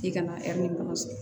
K'i kana dɔrɔn